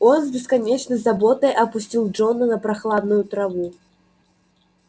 он с бесконечной заботой опустил джона на прохладную траву